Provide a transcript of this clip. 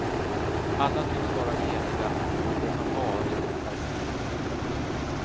Alla tycks vara eniga om att det som varit är fel.